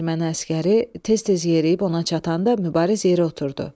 Erməni əsgəri tez-tez yeriyib ona çatanda Mübariz yerə oturdu.